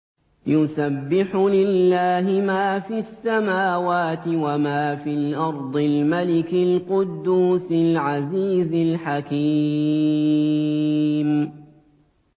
يُسَبِّحُ لِلَّهِ مَا فِي السَّمَاوَاتِ وَمَا فِي الْأَرْضِ الْمَلِكِ الْقُدُّوسِ الْعَزِيزِ الْحَكِيمِ